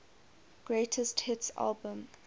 greatest hits album